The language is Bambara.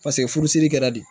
Paseke furusiri kɛra de